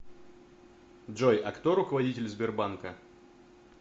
джой а кто руководитель сбербанка